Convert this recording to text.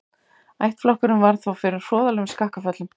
Ættflokkurinn varð þó fyrir hroðalegum skakkaföllum.